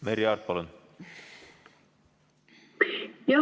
Merry Aart, palun!